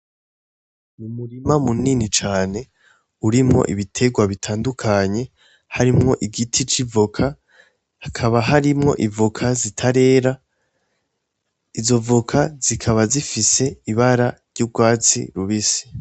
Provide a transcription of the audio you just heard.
N'umurima munini cane urimwo ibitegwa bitandukanye harimwo igiti c'ivoka, hakaba harimwo ivoka zitarera, izo voka zikaba zifise ibara ry'ugwatsi rubisi.